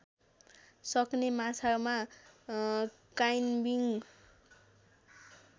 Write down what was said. सक्ने माछामा क्याइम्बिङ